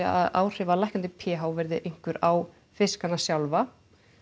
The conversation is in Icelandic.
að áhrif af lækkandi p h verði einhver á fiskana sjálfa